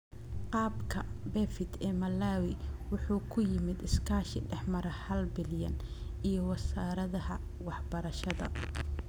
Qaabka BEFIT ee Malawi wuxuu ku yimid iskaashi dhex mara halbilyan iyo Wasaaradda Waxbarashada.